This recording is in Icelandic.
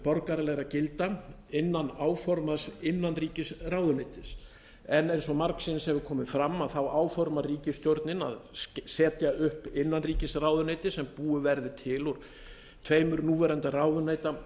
borgaralegra gilda innan áformaðs innanríkisráðuneytis en eins og margsinnis hefur komið fram áformar ríkisstjórnin að setja upp innanríkisráðuneyti sem búið verði til úr tveimur núverandi ráðuneyta